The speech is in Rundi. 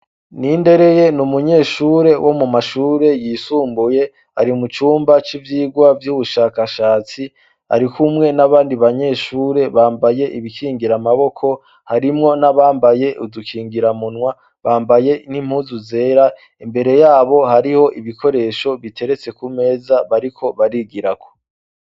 nindereye n'umunyeshure wo mu mashure yisumbuye ari mucumba c'ivyigwa vy'ubushakashatsi arikumwe n'abandi banyeshure bambaye ibikingira maboko harimwo n'abambaye udukingiramunwa bambaye n'impuzu zera imbereyabo hariho ibikoresho biteretse kumeza bariko barigirako